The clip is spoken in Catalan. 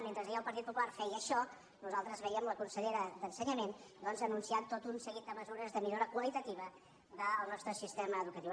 mentre ahir el partit popular feia això nosaltres veiem la consellera d’ensenyament anunciant tot un seguit de mesures de millora qualitativa del nostre sistema educatiu